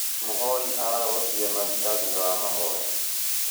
Mũhoi ararogotire maruta thutha wa mahoya